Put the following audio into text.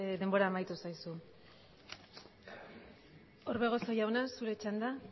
denbora amaitu zaizu orbegozo jauna zure txanda